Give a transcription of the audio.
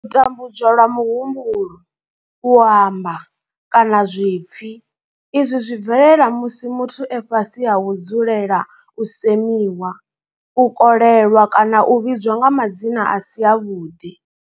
U tambudzwa lwa muhumbulo, u amba, kana zwipfi izwi zwi bvelela musi muthu e fhasi ha u dzulela u semiwa, u kolelwa kana u vhidzwa nga madzina a si avhuḓi.